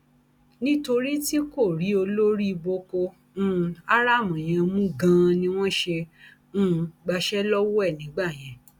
nítorí tí kò rí olórí boko um haram yẹn mú ganan ni wọn ṣe um gbàṣẹ lọwọ ẹ nígbà yẹn